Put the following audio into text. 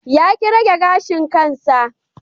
Ya ki rage gashin kansa.